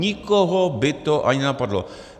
Nikoho by to ani nenapadlo.